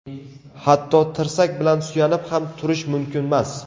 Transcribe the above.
Hatto, tirsak bilan suyanib ham turish mumkinmas.